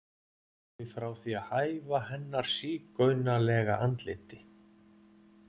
hafi frá því að hæfa hennar sígaunalega andliti.